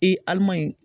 Ee alimani